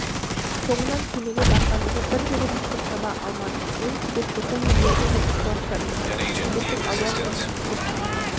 соңынан кемеге барғанымда бірде-бір мүштік таба алмадым мен себет тоқу өнеріне де ықыластандым себеттің алуан түрін тоқып шығардым